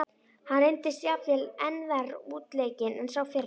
Hann reyndist jafnvel enn verr útleikinn en sá fyrri.